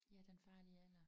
Ja Den farlige alder